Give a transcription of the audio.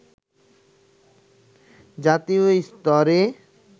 জাতীয় স্তরে